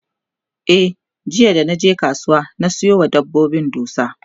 e jiya da naje kasuwa na Sayo wa dabbobin dusa